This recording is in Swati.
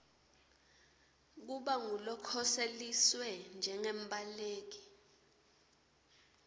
kuba ngulokhoseliswe njengembaleki